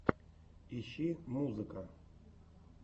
ищи музыка